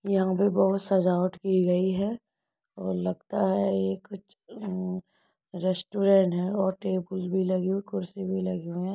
यहाँ पे बहुत सजावट की गई है और लगता है ये कुछ उ रेस्टूरने है और टेबुल भी लगी हुई कुर्सी भी लगी हुई है।